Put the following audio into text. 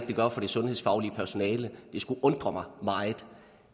det gør for det sundhedsfaglige personale det skulle undre mig meget